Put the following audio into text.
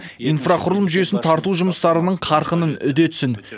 инфрақұрылым жүйесін тарту жұмыстарының қарқынын үдетсін